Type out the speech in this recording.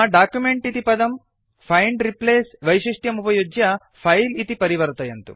अधुना डॉक्युमेंट इति पदं फैंड् रिप्लेस् वैशिष्ट्यमुपयुज्य फिले इति परिवर्तयन्तु